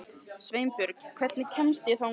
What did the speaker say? Sveinborg, hvernig kemst ég þangað?